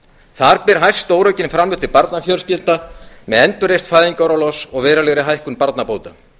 þar ber hæst stóraukin framlög til barnafjölskyldna með endurreisn fæðingarorlofs og verulegri hækkun barnabóta